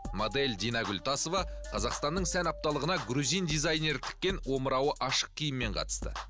модель динагүл тасова қазақстанның сән апталығына грузин дизайнері тіккен омырауы ашық киіммен қатысты